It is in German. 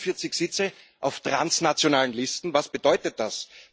46 Sitze auf transnationalen Listen was bedeutet das?